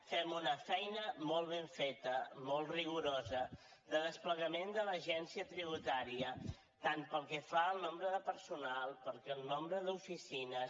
fem una feina molt ben feta molt rigorosa de desplegament de l’agència tributària tant pel que fa al nombre de personal com pel nombre d’oficines